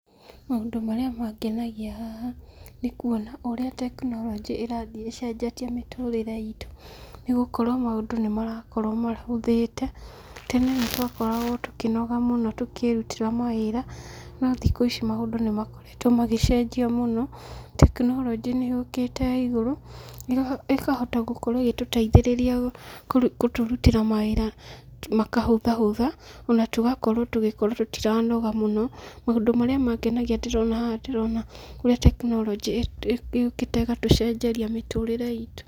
Maũndũ marĩa mangenagia haha, nĩ kuona ũrĩa tekinoronjĩ ĩrathiĩ ĩcenjetie mĩtũrĩre itũ. Nĩ gũkorwo maũndũ nĩ marakorwo mahũthĩte. Tene nĩ twakoragwo tũkĩnoga mũno tũkĩrutĩra mawĩra, no thikũ ici maũndũ nĩ makoretwo magĩcenjio mũno. Tekinoronjĩ nĩ yũkĩte ya igũrũ, ĩkahota gũkorwo ĩgĩtũteithĩrĩria gũtũrutĩra mawĩra makahũthahũtha, ona tũgakorwo tũgĩkorwo tũtiranoga mũno. Maũndũ marĩa mangenagia haha ndĩrona haha ndĩrona ũrĩa tekinoronjĩ yũkĩte ĩgatũcenjeria mĩtũrĩre itũ.